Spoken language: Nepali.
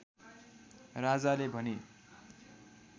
राजाले भने